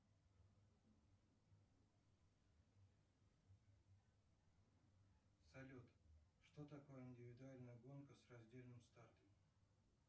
салют что такое индивидуальная гонка с раздельным стартом